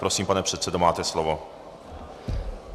Prosím, pane předsedo, máte slovo.